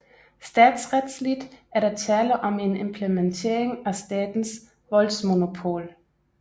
Statsretsligt er der tale om en implementering af statens voldsmonopol